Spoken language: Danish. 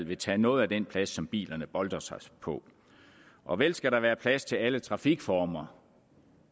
vil tage noget af den plads som bilerne boltrer sig på og vel skal der være plads til alle trafikformer